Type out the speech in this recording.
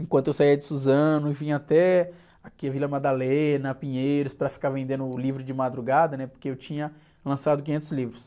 Enquanto eu saia de Suzano, eu vinha até aqui a Vila Madalena, Pinheiros, para ficar vendendo livro de madrugada, né? Porque eu tinha lançado quinhentos livros.